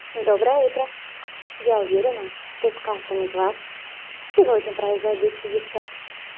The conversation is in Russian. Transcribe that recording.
доброе утро я уверена что с каждым из вас сегодня произойдут чудеса